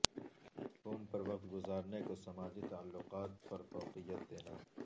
phone پر وقت گزارنے کو سماجی تعلقات پر فوقیت دینا